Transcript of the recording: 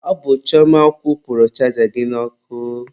Ọ bụ Chioma kwụpurụ chaja gị n'ọkụ.